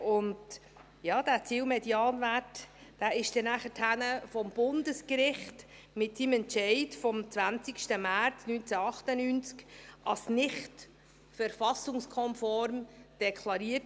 Und ja: Dieser Zielmedianwert wurde nachher durch das Bundesgericht mit seinem Entscheid vom 20. März 1998 als nicht verfassungskonform deklariert.